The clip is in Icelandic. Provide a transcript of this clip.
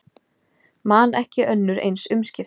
Man ekki önnur eins umskipti